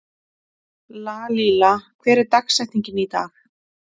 Lalíla, hver er dagsetningin í dag?